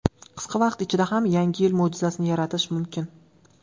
Qisqa vaqt ichida ham yangi yil mo‘jizasini yaratish mumkin!